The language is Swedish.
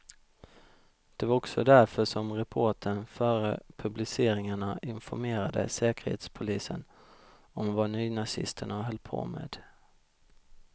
Det var också därför som reportern före publiceringarna informerade säkerhetspolisen om vad nynazisterna höll på med.